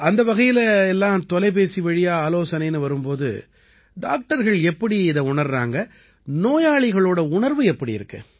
அந்த வகையில எல்லாம் தொலைபேசி வழி ஆலோசனைன்னு வரும் போது டாக்டர்கள் எப்படி இதை உணர்றாங்க நோயாளிகளோட உணர்வு எப்படி இருக்கு